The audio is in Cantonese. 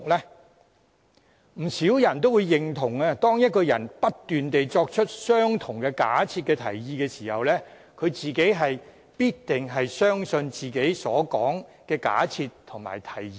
相信不少人也會認同，當一個人不斷作出相同的假設和提議時，他本人必定也相信自己所提出的假設和提議。